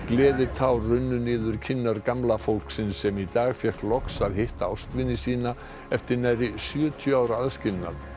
gleðitár runnu niður kinnar gamla fólksins sem í dag fékk loks að hitta ástvini sína eftir nærri sjötíu ára aðskilnað